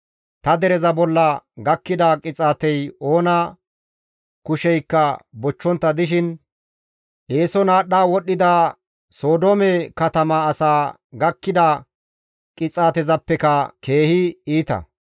Ta dereza bolla gakkida qixaatey oona kusheykka bochchontta dishin eeson aadhdha wodhdhida Sodoome katama asaa gakkida qixaatezappeka keehi iita.